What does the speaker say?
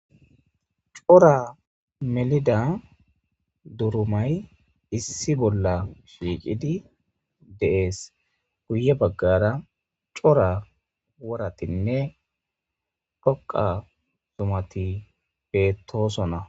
Cora melida durumay issi bolla shiiqidi deees guye baggara cora woratinne dhoqa zumati bettoosona